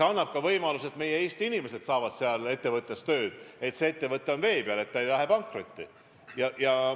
Tänu sellele need ettevõtted püsivad vee peal, ei lähe pankrotti ja see annab võimaluse, et ka meie Eesti inimesed saavad neis tööd.